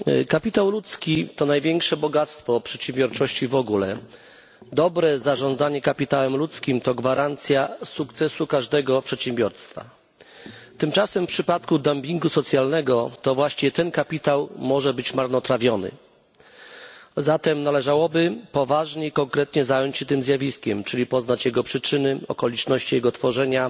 Kapitał ludzki to największe bogactwo przedsiębiorczości w ogóle. Dobre zarządzanie kapitałem ludzkim to gwarancja sukcesu każdego przedsiębiorstwa. Tymczasem w przypadku dumpingu socjalnego to właśnie ten kapitał może być marnotrawiony, zatem należałoby poważnie i konkretnie zająć się tym zjawiskiem, czyli poznać jego przyczyny, okoliczności jego tworzenia,